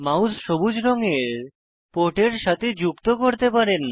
mouse সবুজ রঙের পোর্টের সাথে যুক্ত করতে পারেন